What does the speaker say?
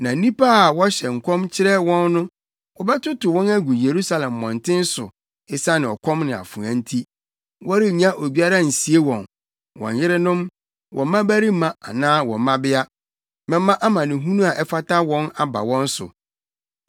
Na nnipa a wɔhyɛ nkɔm kyerɛ wɔn no, wɔbɛtotow wɔn agu Yerusalem mmɔnten so esiane ɔkɔm ne afoa nti. Wɔrenya obiara nsie wɔn: wɔn yerenom, wɔn mmabarima anaa wɔn mmabea. Mɛma amanehunu a ɛfata wɔn aba wɔn so.